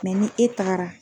ni e taara.